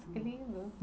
Que lindo!